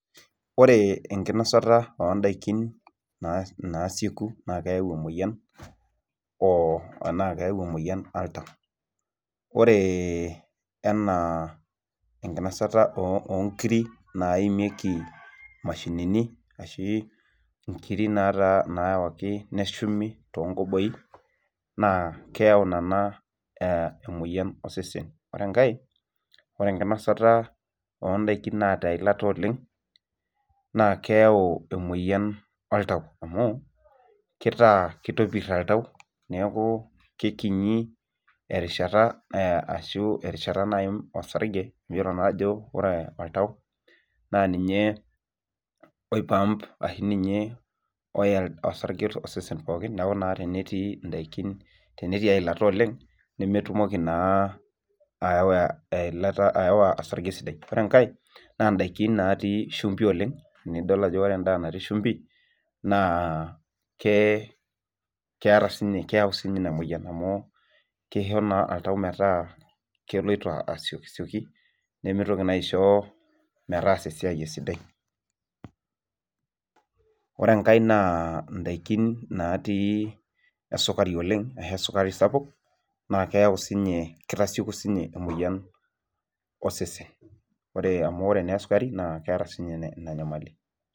Ore enkinosata oo ndaiki naasieku naa keyau emoyian o enaa keyau emoyian oltau. Ore enaa enkinosata oo nkiri naimieki mashinini ashu nkiri naawaki neshumi toonkoboi naa keyau nena emoyian osesen. Ore enkae, enkinosata oo ndaiki naata eilata oleng naa keyau emoyian oltau amu kitaa, kitopirr oltau neeku kekinyi erishata ashu erishata naim osarge miyiolo naa ajo ore oltau naa ninye oi pump ashu ninye oya osarge osesen pookin neeku naa tenetii indaiki eilata oleng nemetumoki naa aawa osarge sidai. Ore enkae, naa indaiki naatii shumbi oleng, nidol ajo ore endaa natii shumbi naa keeta siininye, keyau siininye ina mwoyian amu keisho naa oltau metaa keloito asiokisioki nemitoki naa aisho, aas esiai e sidai. Ore enkae naa indaiki naatii esukari oleng ashu esukari sapuk naa keyau siininye, kitasieku siininye emwoyian osese. Ore amu ore naa esukari naa keeta siininye ina nyamali